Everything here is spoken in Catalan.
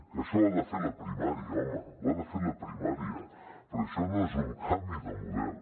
que això ho ha de fer la primària home ho ha de fer la primària però això no és un canvi de model